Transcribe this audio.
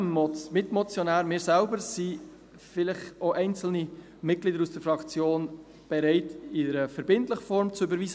Neben dem Mitmotionär, wir selber sind bereit, vielleicht auch einzelne Mitglieder aus der Fraktion, dies in einer verbindlichen Form zu überweisen.